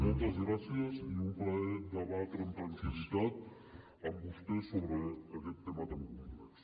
moltes gràcies i un plaer debatre amb tranquil·litat amb vostès sobre aquest tema tan complex